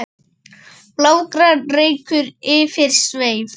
blágrár reykur yfir sveif